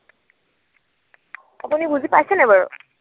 আপুনি বুজি পাইছে নাই বাৰু?